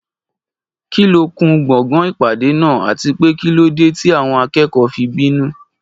Kí ló kún gbọ̀ngàn ìpàdé náà, àti pé kí ló dé tí àwọn akẹ́kọ̀ọ́ fi bínú?